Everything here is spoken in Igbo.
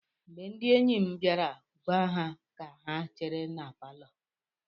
Mgbe ndị enyi m bịara, gwa ha ka ha chere na palọ.